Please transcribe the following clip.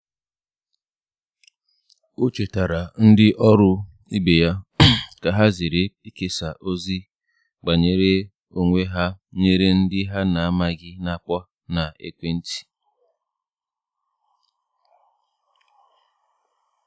o chetara ndi oru ibe ya ka ha zere ikesa ozi banyere onwe ha nyere ndi ha na amaghi na akpo na ekwe nti